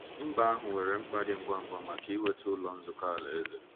Mba ahụ nwere mkpa dị ngwa ngwa maka inweta ọtụtụ Ụlọ Nzukọ Alaeze.